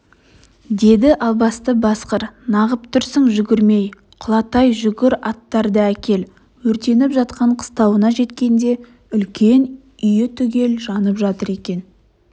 деді албасты басқыр нағып тұрсың жүгірмей құлатай жүгір аттарды әкел өртеніп жатқан қыстауына жеткенде үлкен үйі түгел жанып жатыр екен